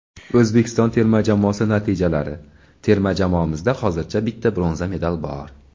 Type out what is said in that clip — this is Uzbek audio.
Oʼzbekiston terma jamoasi natijalari: Terma jamoamizda hozircha bitta bronza medal bor.